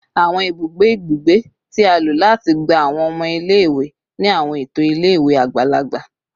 Awọn ibugbe ibugbe ti a lo lati gba awọn ọmọ ile-iwe ni awọn eto ile-iwe agbalagba